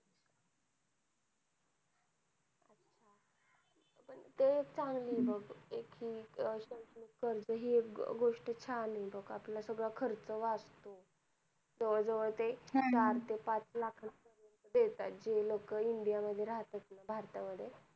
ते एक चांगलंय बघ. एक शैक्षणिक कर्ज ही एक गोष्ट छान हे बघ आपला सगळं खर्च वाचतो. जवळजवळ ते चार ते पाच लाख रुपये, देतायं. जे लोक इंडियामध्ये राहताय भारतामध्ये.